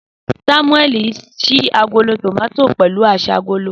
Samueli n ṣii agolo tomati pẹlu aṣágolo.